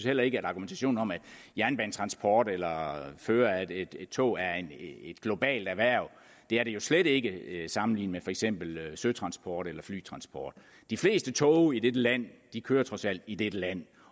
heller ikke at argumentationen om at jernbanetransport eller fører af et tog er et globalt erhverv det er det jo slet ikke sammenlignet med for eksempel søtransport eller flytransport de fleste tog i dette land kører trods alt i dette land